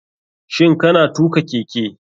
Shin kana tuka keke.